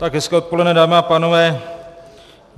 Tak hezké odpoledne, dámy a pánové.